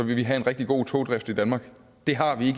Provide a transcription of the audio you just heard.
vi have en rigtig god togdrift i danmark det har vi